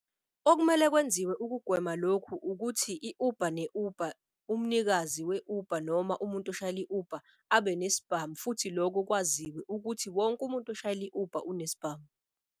Okumele kwenziwe ukugwema lokhu ukuthi i-Uber ne-Uber umnikazi we-Uber noma umuntu eshayela i-Uber abe nesibhamu. Futhi lokho kwaziwe ukuthi wonke umuntu oshayela i-Uber unesbhamu.